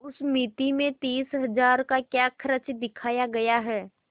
उस मिती में तीस हजार का क्या खर्च दिखाया गया है